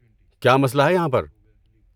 کیا مسئلہ ہے یہاں پر؟